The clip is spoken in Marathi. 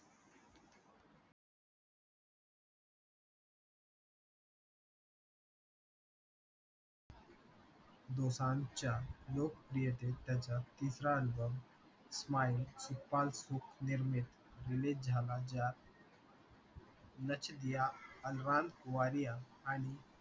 दोसांझच्या लोकप्रियतेत त्याचा तिसरा album smile सुखपाल सुख निर्मित release झाला ज्यात नच दियां अलवन वारिया आणि